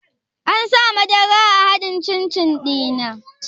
An sa madara a haɗin cin-cin ɗinnan?